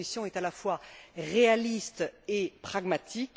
Leur proposition est, à la fois réaliste et pragmatique.